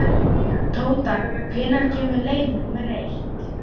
Tóta, hvenær kemur leið númer eitt?